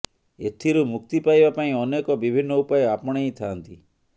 ଏଥିରୁ ମୁକ୍ତି ପାଇବା ପାଇଁ ଅନେକ ବିଭିନ୍ନ ଉପାୟ ଆପଣେଇ ଥାଆନ୍ତି